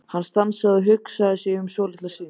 Hann stansaði og hugsaði sig um svolitla stund.